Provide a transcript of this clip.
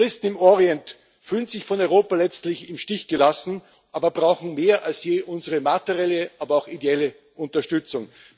Die Christen im Orient fühlen sich von Europa letztlich im Stich gelassen, brauchen aber mehr denn je unsere materielle, aber auch ideelle Unterstützung.